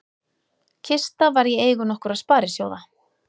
Kista var í eigu nokkurra sparisjóða